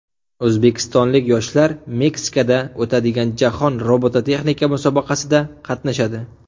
O‘zbekistonlik yoshlar Meksikada o‘tadigan Jahon robototexnika musobaqasida qatnashadi.